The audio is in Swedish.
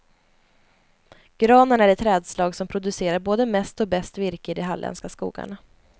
Granen är det trädslag som producerar både mest och bäst virke i de halländska skogarna.